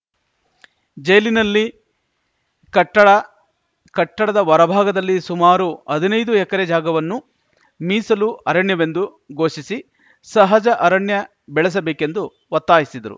ಜೈಲಿನಲ್ಲಿ ಕಟ್ಟಡ ಕಟ್ಟಡದ ಹೊರಭಾಗದಲ್ಲಿ ಸುಮಾರು ಹದಿನೈದು ಎಕರೆ ಜಾಗವನ್ನು ಮೀಸಲು ಅರಣ್ಯವೆಂದು ಘೋಷಿಸಿ ಸಹಜ ಅರಣ್ಯ ಬೆಳೆಸಬೇಕೆಂದು ಒತ್ತಾಯಿಸಿದರು